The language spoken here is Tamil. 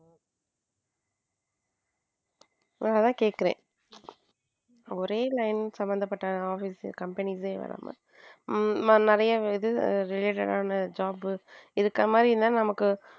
அதான் கேட்கிறேன் ஒரே line சம்பந்தப்பட்ட office companies வராமல் நிறைய related job இருக்கிற மாதிரி இருந்தா நமக்கு.